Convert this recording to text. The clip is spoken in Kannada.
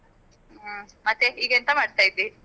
ಹ್ಮ್ ಮತ್ತೆ ಈಗ ಎಂತ ಮಾಡ್ತಾ ಇದ್ದೀ?